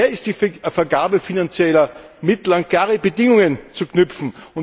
Daher ist die Vergabe finanzieller Mittel an klare Bedingungen zu knüpfen.